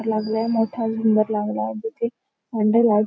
लागला मोठा झुंबर लागला आहे. तिथे --